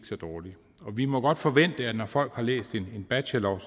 så dårligt vi må godt forvente at når folk har læst en bachelor